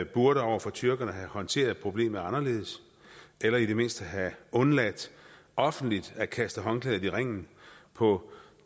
burde over for tyrkerne have håndteret problemet anderledes eller i det mindste have undladt offentligt at kaste håndklædet i ringen på